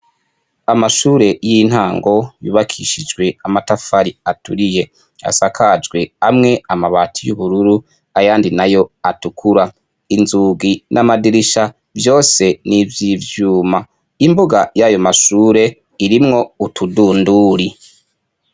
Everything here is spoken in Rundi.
Amashure y'intango yubakishijwe amatafari aturiye asakajwe amwe amabati y'ubururu ayandi nayo atukura, inzugi n'amadirisha vyose nivyivyuma, imbuga y'ayo mashure irimwo utudunduri.